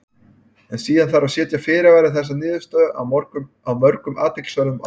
En síðan þarf að setja fyrirvara við þessa niðurstöðu af mörgum athyglisverðum ástæðum.